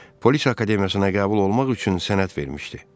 Polis Akademiyasına qəbul olmaq üçün sənəd vermişdi.